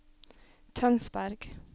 Tønsberg